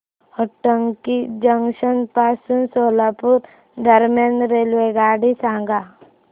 Hotgi junction पासून सोलापूर दरम्यान रेल्वेगाडी सांगा